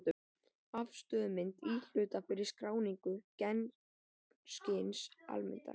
Afstöðumynd íhluta fyrir skráningu gegnskins-almyndar.